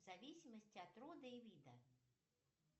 в зависимости от рода и вида